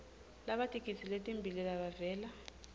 labatigidzi letimbili labavela